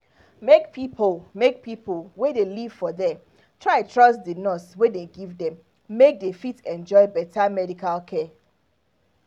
make pipo make pipo wey dey live for there try trust di nurse wey dey give them make dey fit enjoy better medical care